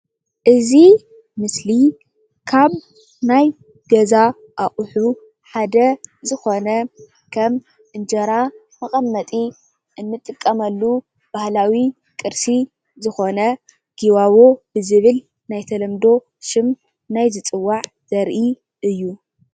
እዚ ምስሊ ካብ ናይ ገዛ ኣቑሑ ሓደ ዝኮነ፣ ከም እንጀራ መቀመጢ እንጥቀመሉ ባህላዊ ቅርሲ ዝኮነ ጊባቦ ብዝብል ናይ ተለምዶ ሽም ዝፅዋዕ ዘርኢ እዩ።